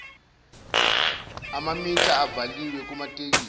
amamitha avaliwe kumatekisi